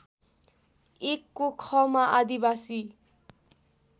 १ को ख मा आदिवासी